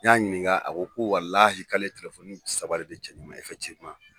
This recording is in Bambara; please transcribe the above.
N ɲ'a ɲininka a ko ko walahi k'ale saba de di cɛnni ma